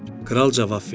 Kral cavab verdi.